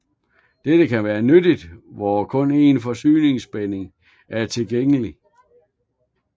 Dette kan være nyttigt hvor kun én forsyningsspænding er tilgængelig